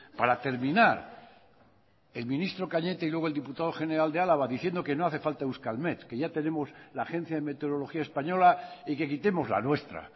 para terminar el ministro cañete y luego el diputado general de álava diciendo que no hace falta euskalmet que ya tenemos la agencia de meteorología española y que quitemos la nuestra